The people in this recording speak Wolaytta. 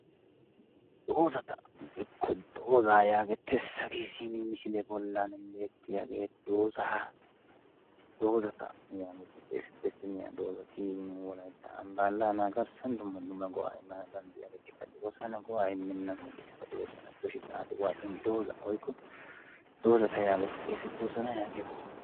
Doozata woykko dooza yaagetees, hage simi misiliya bollan beertiyaage doozaata yaageti xeessetees. Simi ha doozati nu wolaytta ambba allaana garssan dumma dumma go"a immana danddayiyyageetikka de'oosona. Go"a immenaageetikka de'oosona gidoshin xaaxi waaxin dooza woykko doozata yaageti xeessetoosona yaagiyooga.